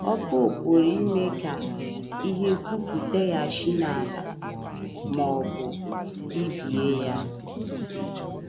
Ọkụ pụrụ pụrụ ime ka ihe pupụtaghachi n’ala ma ọ bụ bibie ya.